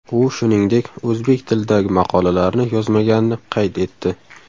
U, shuningdek, o‘zbek tilidagi maqolalarni yozmaganini qayd etdi.